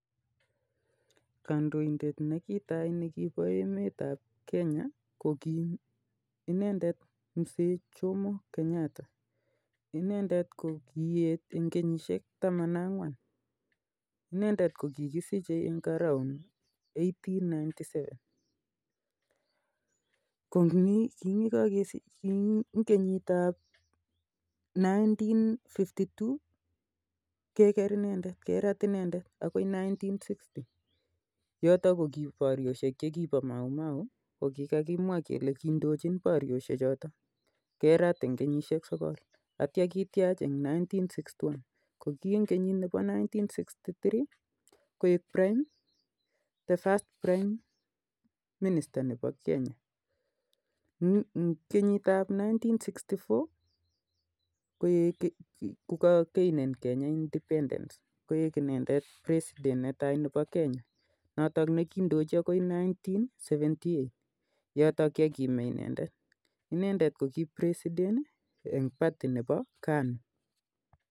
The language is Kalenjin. Kandoindet nekitaii nekiboo emet ap kenya ko boiyot jomo Kenyatta inendet ko kikisichei eng kenyiitap elipu agenge bokl sisit ak temanini ak tisap inendset ko kieet eng kenyishek taman ak angwan atyo kosirto inendet